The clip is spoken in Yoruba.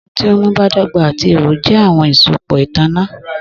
Ohun ti nmu badọgba ati iho jẹ awọn asopọ itanna